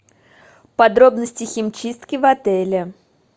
подробности химчистки в отеле